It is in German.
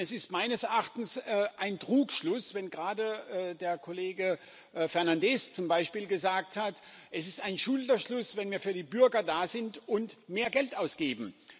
Es ist meines Erachtens ein Trugschluss, wenn gerade der Kollege Fernandes zum Beispiel gesagt hat Es ist ein Schulterschluss, wenn wir für die Bürger da sind und mehr Geld ausgeben.